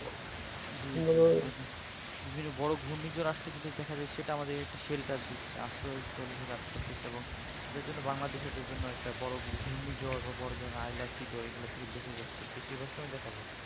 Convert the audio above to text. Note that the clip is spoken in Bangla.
জী পৃথিবীতে বোরো ঘূর্ণিঝড় আসলে কিন্তু দেখা যাই সেইটা আমাদের shelter দিচ্ছে আশ্রয় কাজ করতেছে এবং সেটার জন্য বাংলাদেশ এটার জন্য ঘূর্ণি ঝড় বা আইলা শ্রীধর এগুলা থেকে বেঁচে যাচ্ছি বেশিরভাগ সময় দেখা যাই